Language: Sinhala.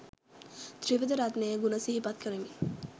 ත්‍රිවිධ රත්නයේ ගුණ සිහිපත් කරමින්